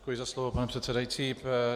Děkuji za slovo, pane předsedající.